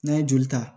N'an ye joli ta